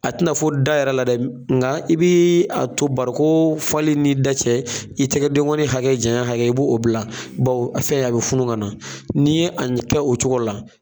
A tɛna fɔ da yɛrɛ la dɛ nka i bɛ a to barikon o fali ni da cɛ i tɛgɛ denkɔnin hakɛ jɛn yan hakɛ i b'o bila baw a fɛ a bɛ funu kana na n'i ye a kɛ o cogo la.